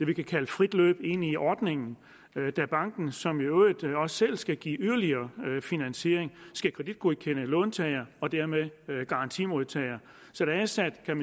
vi kan kalde frit løb ind i ordningen da banken som i øvrigt også selv skal give yderligere finansiering skal kreditgodkende låntager og dermed garantimodtager så der er sat